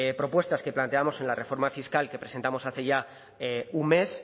propuestas que planteamos en la reforma fiscal que presentamos hace ya un mes